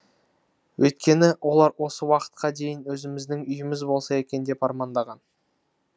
өйткені олар осы уақытқа дейін өзіміздің үйіміз болса екен деп армандаған